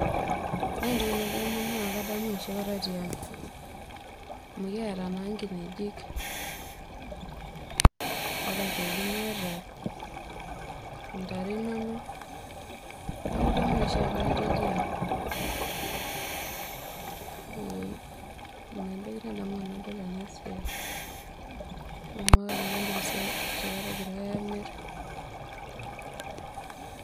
Ore entoki nadamu na kadamu enoshi kata tiang amu kiata naa nkinejik ore aitoki niyata ntare inonok neaku idamu enoshi kata itii aang, ee inaentoki nadamu tanadol enasiai.